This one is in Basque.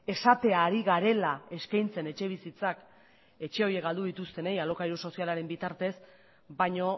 esatea ari garela eskaintzen etxebizitzak etxe horiek galdu dituztenei alokairu sozialaren bitartez baino